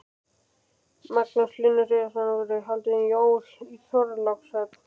Magnús Hlynur Hreiðarsson: Verða haldin jól í Þorlákshöfn?